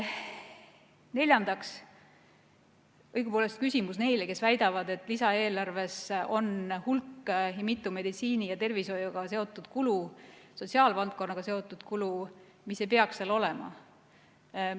Neljandaks on mul õigupoolest küsimus neile, kes väidavad, et lisaeelarves on hulk meditsiini- ja tervishoiuga seotud kulu, sotsiaalvaldkonnaga seotud kulu, mis ei peaks seal olema.